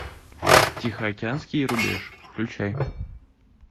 тихоокеанский рубеж включай